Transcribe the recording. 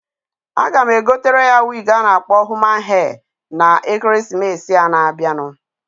A ga m egotere ya wig a na-akpọ human hair, na Ekeresimesịa na-abianu.